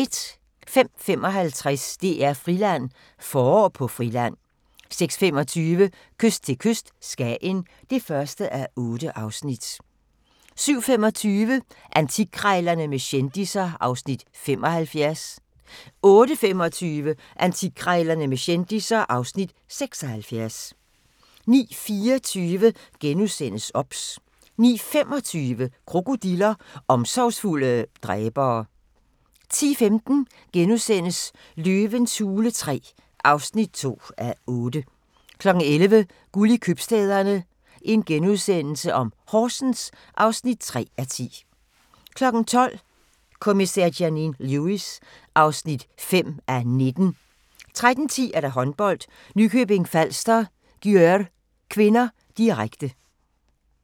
05:55: DR-Friland: Forår på Friland 06:25: Kyst til kyst - Skagen (1:8) 07:25: Antikkrejlerne med kendisser (Afs. 75) 08:25: Antikkrejlerne med kendisser (Afs. 76) 09:24: OBS * 09:25: Krokodiller – omsorgsfulde dræbere 10:15: Løvens hule III (2:8)* 11:00: Guld i købstæderne - Horsens (3:10)* 12:00: Kommissær Janine Lewis (5:19) 13:10: Håndbold: Nykøbing Falster-Györ (k), direkte